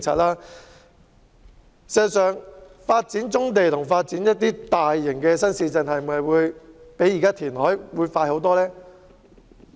然而，發展棕地和發展大型新市鎮是否真的會較填海快很多？